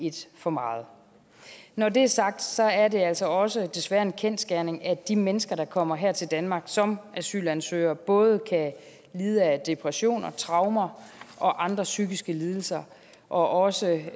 et for meget når det er sagt er det altså også desværre en kendsgerning at de mennesker der kommer her til danmark som asylansøgere både kan lide af depressioner traumer og andre psykiske lidelser og også